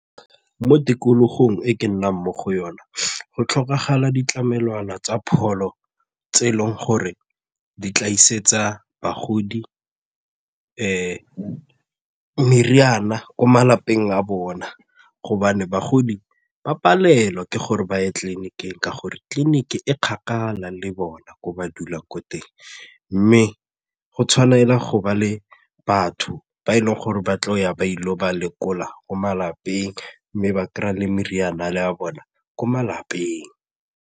Mo tikologong e ke nnang mo go yona go tlhokagala ditlamelwana tsa pholo tse e leng gore di tla isetsa bagodi meriana ko malapeng a bona gobane bagodi ba palelwa ke gore ba ye tleliniking ka gore tleliniki e kgakala le bona ko ba dulang ko teng mme go tshwanela go bua le batho ba e leng gore ba tlo ya ba ile go ba lekola ko malapeng mme ba kry-a le meriana ya bona ko malapeng.